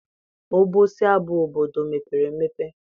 Obosi abụ obodo mepere emepe?